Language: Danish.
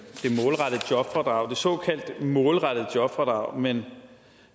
såkaldte målrettede jobfradrag men